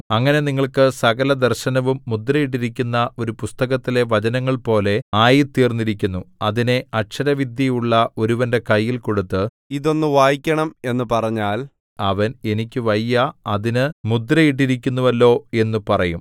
അങ്ങനെ നിങ്ങൾക്ക് സകലദർശനവും മുദ്രയിട്ടിരിക്കുന്ന ഒരു പുസ്തകത്തിലെ വചനങ്ങൾ പോലെ ആയിത്തീർന്നിരിക്കുന്നു അതിനെ അക്ഷരവിദ്യയുള്ള ഒരുവന്റെ കയ്യിൽ കൊടുത്ത് ഇതൊന്നു വായിക്കണം എന്നു പറഞ്ഞാൽ അവൻ എനിക്ക് വയ്യാ അതിന് മുദ്രയിട്ടിരിക്കുന്നുവല്ലോ എന്നു പറയും